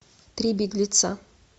три беглеца